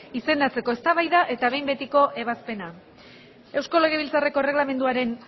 izendatzea eztabaida eta behin betiko ebazpena eusko legebiltzarreko erregelamenduaren